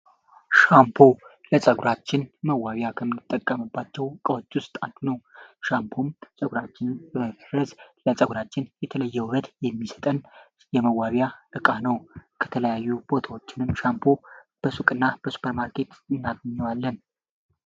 ሻምፖ ለፀጉራችን መዋቢያ ከምንጠቀምባቸው ከመዋቢያዎች ውስጥ አንደኛው ነው ሻምፖም ለፀጉራችን የተለየውበት በመስጠት የሚሰጠን የመዋቢያ እቃ ነው ከተለያዩ ቦታዎችም በሱቅና በሱኘር ማርኬት እናገኛለን።